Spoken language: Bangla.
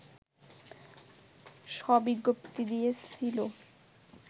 ষ বিজ্ঞপ্তি দিয়েছিল